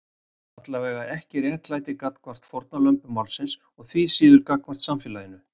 Allavega ekki réttlæti gagnvart fórnarlömbum málsins og því síður gagnvart samfélaginu.